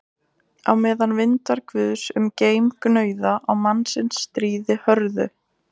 Á meðan vindar guðs um geim gnauða á mannsins stríði hörðu